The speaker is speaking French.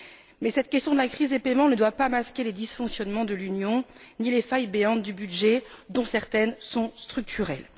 Mais cette question de la crise des paiements ne doit pas masquer les dysfonctionnements de l'Union, ni les failles béantes du budget, dont certaines sont structurelles.